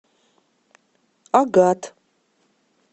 агат